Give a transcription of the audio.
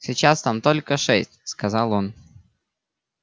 сейчас там только шесть сказал он